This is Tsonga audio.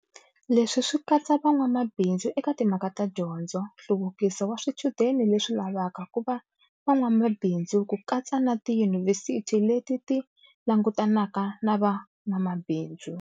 Leswi swi katsa van'wamabindzu eka timhaka ta dyondzo, nhluvuki so wa swichudeni leswi lavaka ku va van'wamabindzu ku katsa na tiyunivhesiti leti ti langutanaka na van'wamabindzu.